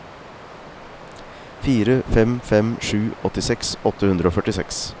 fire fem fem sju åttiseks åtte hundre og førtiseks